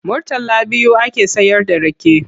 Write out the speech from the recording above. Murtala biyu ake sayarda rake.